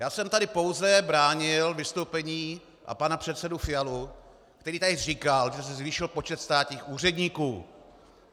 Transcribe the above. Já jsem tady pouze bránil vystoupení a pana předsedu Fialu, který tady říkal, že se zvýšil počet státních úředníků.